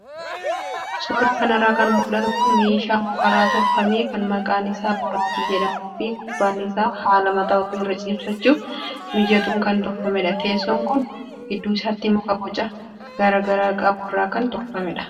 Suuraa kanarraa kan mul'atu kun meeshaa mukarraa tolfame kan maqaan isaa boraatii jedhamuu fi gubbaan isaa haala mataa ofii irra ciibsachuuf mijatuun kan tolfamedha. Teessoon kun gidduu isaatti muka boca garaagaraa qabu irraa kan tolfamedha.